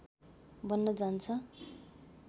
बन्न जान्छ